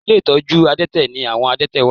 Ilé ìtọ́jú àdẹ́tẹ̀ ni àwọn àdẹ́tẹ̀ wà